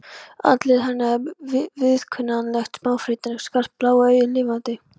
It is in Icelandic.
Andlit hennar er viðkunnanlegt, smáfrítt en skarpt, blá augun lifandi.